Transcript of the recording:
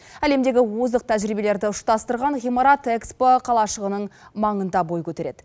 әлемдегі озық тәжірибелерді ұштастырған ғимарат экспо қалашағының маңында бой көтереді